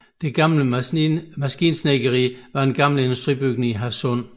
Det Gamle Maskinsnedkeri var en gammel industribygning i Hadsund